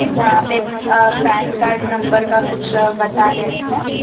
जहां पे अ पैन कार्ड नंबर का कुछ बता रहे हैं।